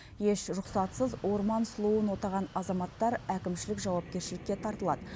еш рұқсатсыз орман сұлуын отаған азаматтар әкімшілік жауапкершілікке тартылады